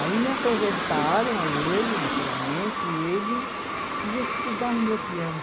Aí me apresentaram a ele, naturalmente, e ele ia estudar no meu piano.